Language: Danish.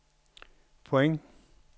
point